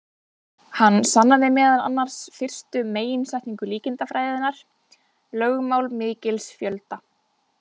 Hann sannaði meðal annars fyrstu meginsetningu líkindafræðinnar, lögmál mikils fjölda.